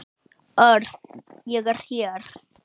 Örn, ég er hér